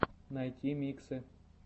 найти миксы